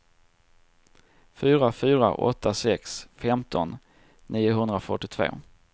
fyra fyra åtta sex femton niohundrafyrtiotvå